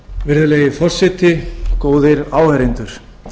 virðulegi forseti góðir áheyrendur